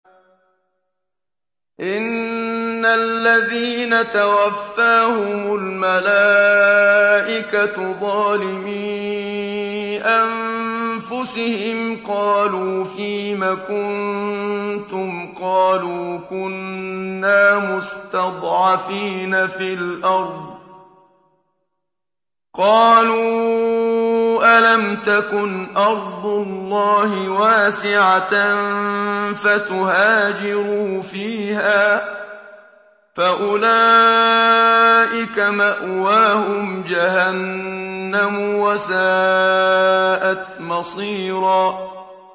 إِنَّ الَّذِينَ تَوَفَّاهُمُ الْمَلَائِكَةُ ظَالِمِي أَنفُسِهِمْ قَالُوا فِيمَ كُنتُمْ ۖ قَالُوا كُنَّا مُسْتَضْعَفِينَ فِي الْأَرْضِ ۚ قَالُوا أَلَمْ تَكُنْ أَرْضُ اللَّهِ وَاسِعَةً فَتُهَاجِرُوا فِيهَا ۚ فَأُولَٰئِكَ مَأْوَاهُمْ جَهَنَّمُ ۖ وَسَاءَتْ مَصِيرًا